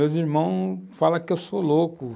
Meus irmãos falam que eu sou louco.